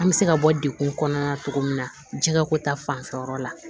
An bɛ se ka bɔ degun kɔnɔna na cogo min na jɛgɛ ko ta fanfɛ yɔrɔ la